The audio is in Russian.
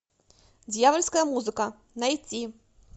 дьявольская музыка найти